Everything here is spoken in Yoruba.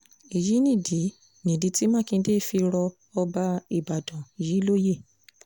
èyí nìdí nìdí tí mákindé fi rọ ọba ìbàdàn yìí lóye